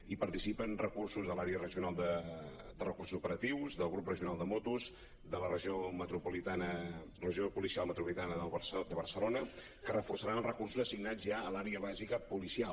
hi participen recursos de l’àrea regional de recursos operatius del grup regional de motos de la regió policial metropolitana de barcelona que reforçaran els recursos assignats ja a l’àrea bàsica policial